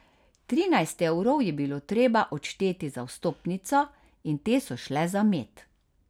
Trinajst evrov je bilo treba odšteti za vstopnico, in te so šle za med.